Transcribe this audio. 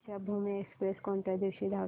Deekshabhoomi express कोणत्या दिवशी धावते